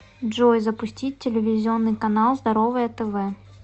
джой запустить телевизионный канал здоровое тв